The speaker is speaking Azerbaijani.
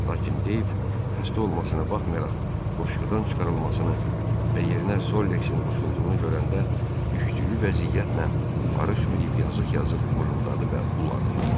Lakin Deyv xəstə olmasına baxmayaraq qoşqudan çıxarılmasını və yerinə Solleksin qoşulduğunu görəndə düşdüyü vəziyyətlə barışmayıb yazığ-yazıq mırıldadı və uladı.